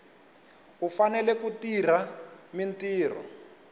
u fanele ku tirha mintirho